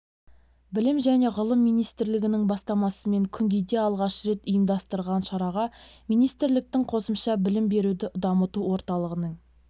білім және ғылым министрлігінің бастамасымен күнгейде алғаш рет ұйымдастырылған шараға министрліктің қосымша білім беруді дамыту орталығының